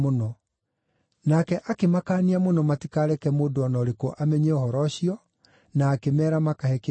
Nake akĩmakaania mũno matikareke mũndũ o na ũrĩkũ amenye ũhoro ũcio, na akĩmeera makahe kĩndũ gĩa kũrĩa.